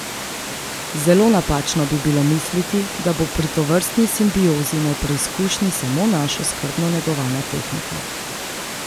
Zelo napačno bi bilo misliti, da bo pri tovrstni simbiozi na preizkušnji samo naša skrbno negovana tehnika.